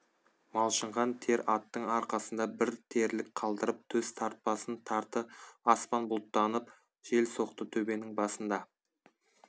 малшынған тер аттың арқасында бір терлік қалдырып төс тартпасын тарты аспан бұлттанып жел соқты төбенің басында